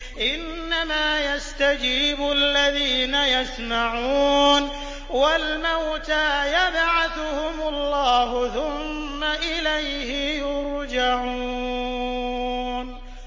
۞ إِنَّمَا يَسْتَجِيبُ الَّذِينَ يَسْمَعُونَ ۘ وَالْمَوْتَىٰ يَبْعَثُهُمُ اللَّهُ ثُمَّ إِلَيْهِ يُرْجَعُونَ